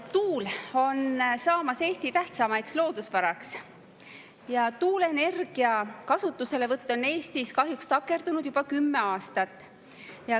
Tuul on saamas Eesti tähtsaimaks loodusvaraks, aga tuuleenergia kasutuselevõtt on Eestis kahjuks juba kümme aastat takerdunud.